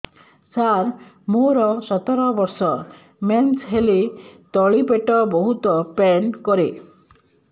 ସାର ମୋର ସତର ବର୍ଷ ମେନ୍ସେସ ହେଲେ ତଳି ପେଟ ବହୁତ ପେନ୍ କରେ